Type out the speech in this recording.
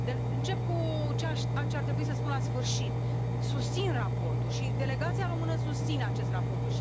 Încep cu ce ar trebui să spun la sfârșit susțin raportul și delegația română susține acest raport.